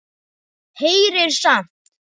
Heyrir samt.